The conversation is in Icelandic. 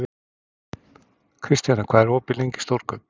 Kristjana, hvað er opið lengi í Stórkaup?